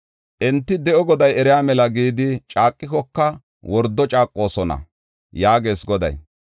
Enti, ‘De7o Goday eriya mela’ gidi caaqikoka, wordo caaqoosona” yaagees Goday.